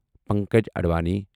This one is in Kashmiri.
پنکج اَڈوانی